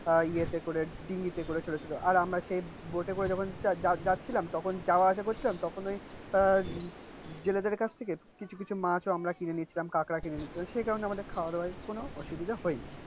আহ ইয়েতে করে করে ছোটো ছোটো আর আমরা সেই বোটে করে যখন যাচ্ছিলাম, আর আমরা যখন বয়াত এ করে যাচ্ছিলাম তখন যাওয়া আসা করছিলাম তখন ওই কাছ থেকে কিছু কিছ মাছ ও আমরা কিনেনিয়েছিলাম কাঁকড়া কিনে নিছছিলাম সেই কারিনে আমাদের খাওয়া দাওয়ার কনো অসুবিধা হয়নি।